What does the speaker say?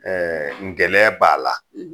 ngɛlɛn b'a la